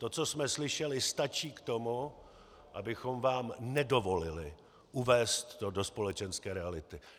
To, co jsme slyšeli, stačí k tomu, abychom vám nedovolili uvést to do společenské reality.